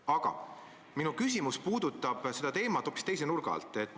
Aga minu küsimus puudutab seda teemat hoopis teise nurga alt.